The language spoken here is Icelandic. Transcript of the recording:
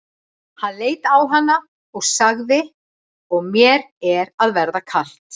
Hann leit á hana og sagði:-Og mér er að verða kalt.